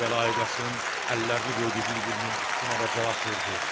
Kərbəlayı Qasım əllərini qoydu bir-birinin üstünə və cavab verdi: